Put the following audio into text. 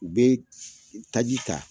U bɛ taji ta.